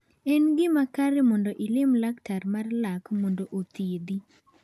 En gima kare mondo ilim laktar mar lak mondo othiedhi.